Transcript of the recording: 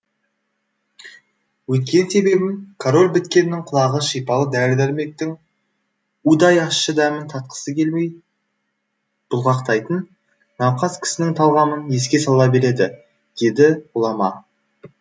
өйткен себебім король біткеннің құлағы шипалы дәрі дәрмектің удай ащы дәмін татқысы келмей бұлғақтайтын науқас кісінің талғамын еске сала береді деді ғұлама